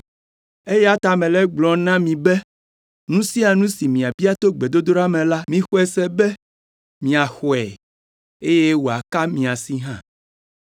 Eya ta mele egblɔm na mi be nu sia nu si miabia to gbedodoɖa me la, mixɔe se be miaxɔe, eye wòaka mia si hã.